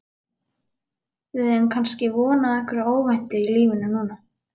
Við eigum kannski von á einhverju óvæntu í lífinu núna?